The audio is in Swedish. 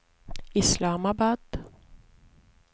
Islamabad